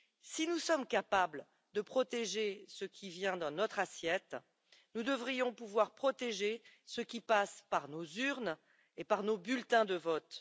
Si nous sommes capables de protéger ce qui vient dans notre assiette, nous devrions pouvoir protéger ce qui passe par nos urnes et nos bulletins de vote.